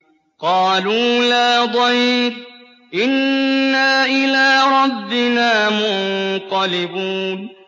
قَالُوا لَا ضَيْرَ ۖ إِنَّا إِلَىٰ رَبِّنَا مُنقَلِبُونَ